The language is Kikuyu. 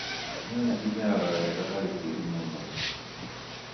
Nyanya imeraga wega harĩ tĩri mũnoru